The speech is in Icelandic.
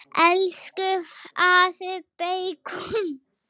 Elsku afi beikon.